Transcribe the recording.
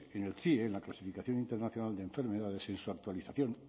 en el cie en la clasificación internacional de enfermedades en su actualización